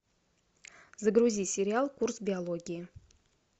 загрузи сериал курс биологии